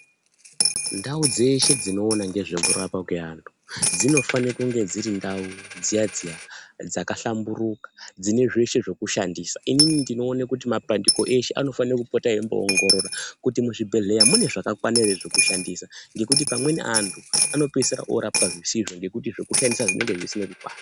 Ndau dzeshe dziniona ngezvekurapwa kweantu dzinofanirwa kunge ndirindau dziya-dziya dzakahlamburuka, dzinezveshe zvekushandisa. Inini ndinoona kuti mapandiko ishe anofana kupota eiongorora kuti muzvibhedhleya munezvakakwana ere zvekushandisa. Ngekuti amweni antu anopeisira orapwa zvisizvo ngekuti zvekushandisa zvinenge zvisina kukwana.